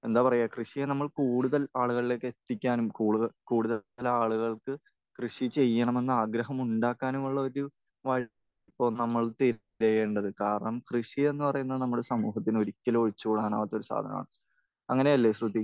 എന്താ പറയാ, കൃഷിയെ നമ്മൾ കൂടുതൽ ആളുകളിലേക്ക് എത്തിക്കാനും കൂടുതൽ കൂടുതൽ ആളുകൾക്ക് കൃഷി ചെയ്യണമെന്ന് ആഗ്രഹം ഉണ്ടാക്കാനുമുള്ള ഒരു വഴി ഇപ്പോൾ നമ്മൾ ചെയ്യേണ്ടത്. കാരണം കൃഷി എന്ന് പറയുന്നത് നമ്മൾ സമൂഹത്തിന് ഒരിക്കലും ഒഴിച്ചുകൂടാൻ ആകാത്ത ഒരു സാധനമാണ്. അങ്ങനെയല്ലേ, ശ്രുതി?